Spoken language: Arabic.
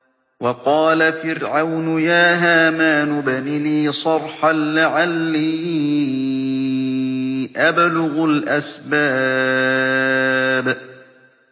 وَقَالَ فِرْعَوْنُ يَا هَامَانُ ابْنِ لِي صَرْحًا لَّعَلِّي أَبْلُغُ الْأَسْبَابَ